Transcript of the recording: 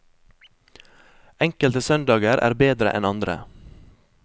Enkelte søndager er bedre enn andre.